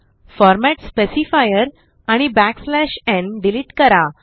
format specifier आणि n delete करा